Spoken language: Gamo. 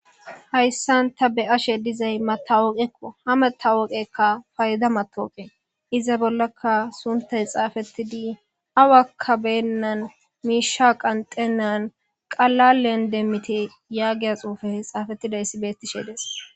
Haysan ta be'ashe dizay matawoqeko. Ha matawoqeyka payda mataweqe. Iza bollaka sunthay xaafetidi awaka beenan miisha qanxenan qalalen demmite yaagiya xuufey xaafetidaysi beetishe dees.